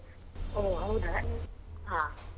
ಹೊ ಹೌದಾ ಹ.